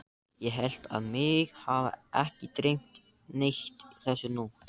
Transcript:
Ég held að mig hafi ekki dreymt neitt þessa nótt.